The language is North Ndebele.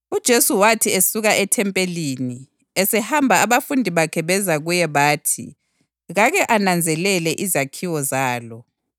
UJesu wathi esuka ethempelini esehamba abafundi bakhe beza kuye bathi kake ananzelele izakhiwo zalo.